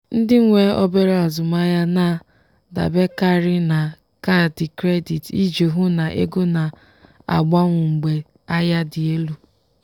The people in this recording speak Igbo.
ndị nwe obere azụmahịa na-adaberekarị na kaadị credit iji hụ na ego na-agbanwu mgbe ahịa dị elu.